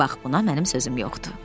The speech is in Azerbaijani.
Bax, buna mənim sözüm yoxdur.